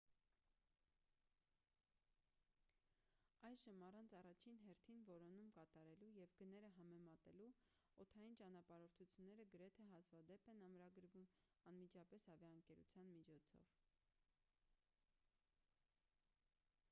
այժմ առանց առաջին հերթին որոնում կատարելու և գները համեմատելու օդային ճանապարհորդությունները գրեթե հազվադեպ են ամրագրվում անմիջապես ավիաընկերության միջոցով